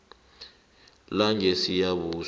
langesiyabuswa